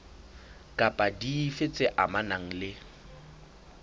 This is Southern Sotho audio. kapa dife tse amanang le